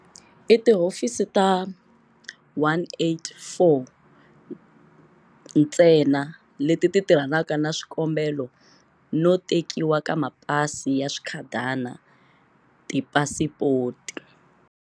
I tihofisi ta 184 ntsena leti tirhanaka na swikombelo no tekiwa ka mapasi ya swikhadana, tipasipoti.